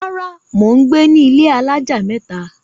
Rárá, mò ń gbé ní ilé alájà mẹ́ta.